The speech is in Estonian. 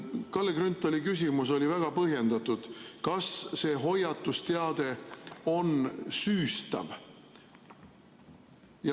Kalle Grünthali küsimus oli väga põhjendatud: kas see hoiatusteade on süüstav?